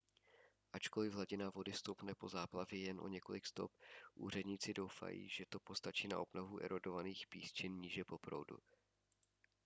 ačkoliv hladina vody stoupne po záplavě jen o několik stop úředníci doufají že to postačí na obnovu erodovaných písčin níže po proudu